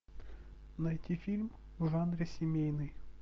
найти фильм в жанре семейный